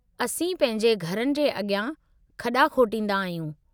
असीं पंहिंजे घरनि जे अॻियां खॾा खोटींदा आहियूं।